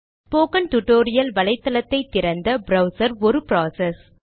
spoken tutorial வலைத்தளத்தை திறந்த browser ஒரு ப்ராசஸ்